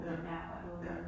Ja. Ja